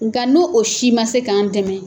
Nga n'o o si ma se k'an dɛmɛ,